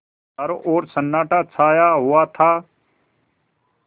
चारों ओर सन्नाटा छाया हुआ था